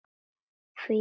Þvílík gjöf.